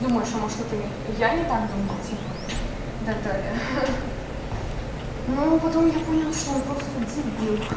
думаешь а может это я не так думаю типа и так далее ну потом я понял что он просто дебил